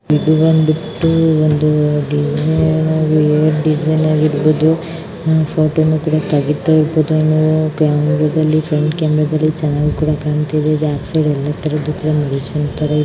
ಇದು ಬಂದ್ಬಿಟ್ಟು ಡಿಸೈನ್ ಆಗಿರಬಹುದು ಫೋಟೋವನ್ನು ಕೂಡ ತೆಗಿತಾ ಇರಬಹುದು ಕ್ಯಾಮೆರಾದಲ್ಲಿ ಫ್ರೆಂಟ್ ಕ್ಯಾಮೆರಾದಲ್ಲಿ ಚೆನ್ನಾಗಿ ಕೂಡ ಕಾಣ್ತಾ ಇದೆ ಬ್ಯಾಕ್ ಸೈಡ್ ಎಲ್ಲಾ ತರ --